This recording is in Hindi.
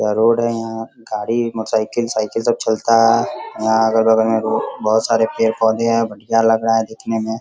यह रोड है। यहाँ गाड़ी मोटरसाइकिल साइकिल सब चलता है। यहाँ अगल बगल में रो बहुत सारे पेड़-पौधे हैं। बढ़िया लग रहा है देखने में।